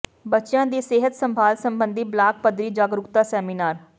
ਬੱਚਿਆਂ ਦੀ ਸਿਹਤ ਸੰਭਾਲ ਸਬੰਧੀ ਬਲਾਕ ਪੱਧਰੀ ਜਾਗਰੂਕਤਾ ਸੈਮੀਨਾਰ